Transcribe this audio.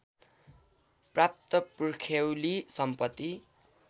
प्राप्त पुर्ख्यौली सम्पत्ति